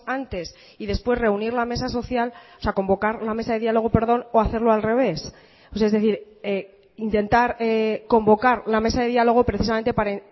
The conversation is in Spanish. antes y después reunir la mesa social o sea convocar la mesa de diálogo perdón o hacerlo al revés es decir intentar convocar la mesa de diálogo precisamente para